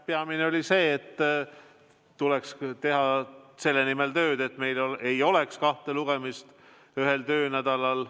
Peamine oli see, et tuleks teha tööd selle nimel, et meil ei oleks ühe eelnõu kahte lugemist ühel töönädalal.